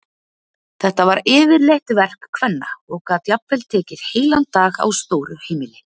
Þetta var yfirleitt verk kvenna og gat jafnvel tekið heilan dag á stóru heimili.